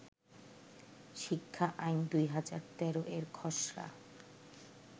শিক্ষা আইন-২০১৩ এর খসড়া